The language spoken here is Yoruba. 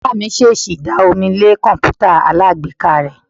Oga mi sẹsì da omí le kọǹpútà alágbèéká re.